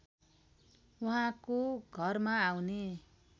उहाँको घरमा आउने